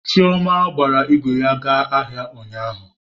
Chioma gbara ígwè ya gaa ahịa ụnyaahụ.